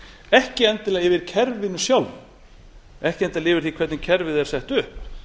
ekki endilega yfir kerfinu sjálfu ekki endilega yfir því hvernig kerfið er sett upp